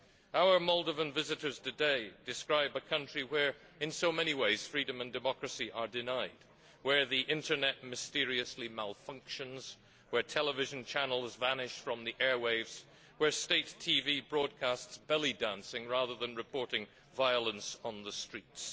Our Moldovan visitors today describe a country where, in so many ways, freedom and democracy are denied, where the Internet mysteriously malfunctions, where television channels vanish from the airwaves, where state TV broadcasts belly dancing rather than reporting violence on the streets.